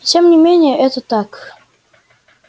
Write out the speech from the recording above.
и тем не менее это так